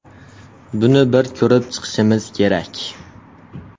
Buni bir ko‘rib chiqishimiz kerak.